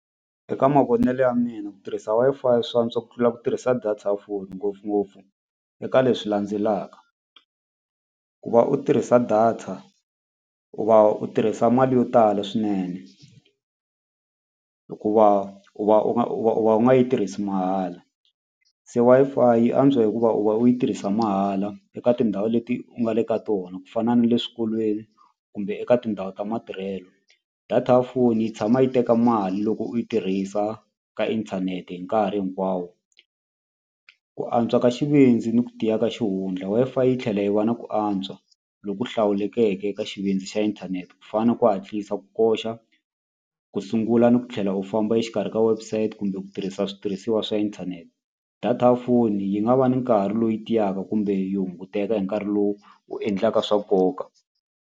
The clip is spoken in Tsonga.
Eka mavonelo ya mina ku tirhisa Wi-Fi swi antswa ku tlula ku tirhisa data ya phone ngopfungopfu eka leswi landzelaka ku va u tirhisa data u va u tirhisa mali yo tala swinene hikuva u va u nga u nga yi tirhisi mahala se Wi-Fi yi antswa hikuva u va u yi tirhisa mahala eka tindhawu leti u nga le ka tona ku fana na le swikolweni kumbe eka tindhawu ta matirhelo data ya foni yi tshama yi teka mali loko u yi tirhisa ka inthanete hi nkarhi hinkwawo. Ku antswa ka xivindzi ni ku tiya ka xihundla Wi-Fi yi tlhela yi va na ku antswa loku hlawulekeke ka xivindzi xa inthanete ku fana na ku hatlisa ku koxa ku sungula ni ku tlhela u famba exikarhi ka website kumbe ku tirhisa switirhisiwa swa inthanete data ya foni yi nga va ni nkarhi loyi tiyaka kumbe yi hunguteka hi nkarhi lowu u endlaka swa nkoka.